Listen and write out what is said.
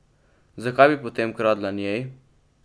Zakaj bi potem kradla njej?